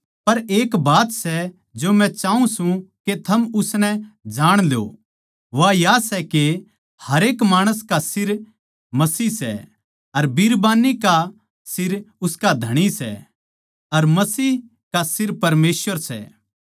पर एक बात सै जो मै चाऊँ सूं के थम जाण ल्यो के हरेक माणस का सिर मसीह सै अर बिरबान्नी का सिर उसका धणी सै अर मसीह का सिर परमेसवर सै